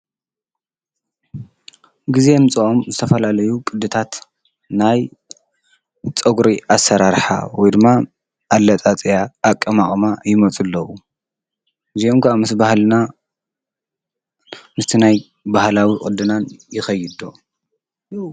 ጊዜ የምፅኦም ዝተፈላለዩ ቕድታት ናይ ፀጕሪ ኣሰራርኃ ወይድማ ኣለፃፅያ፣ ኣቀማምጣ ይሞፁ ኣለዉ። እዚኦም ከዓ ምስ በሃልና ምስቲ ናይ ባህላዊ ቅድናን ይኸይ ዶ?